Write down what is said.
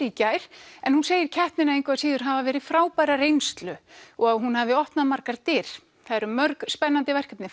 í gær en hún segir keppnina engu að síður hafa verið frábæra reynslu og að hún hafi opnað margar dyr það eru mörg spennandi verkefni